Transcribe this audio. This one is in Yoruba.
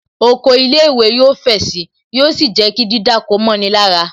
Oko ilé ìwé yóò fẹ̀ sì. Yóò sì jẹ́ kí dídáko mọ́ni lára